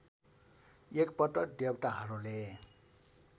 एक पटक देवताहरूले